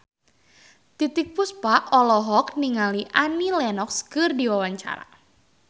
Titiek Puspa olohok ningali Annie Lenox keur diwawancara